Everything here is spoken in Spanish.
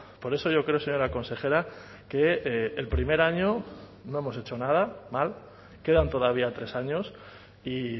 por eso yo creo señora consejera que el primer año no hemos hecho nada mal quedan todavía tres años y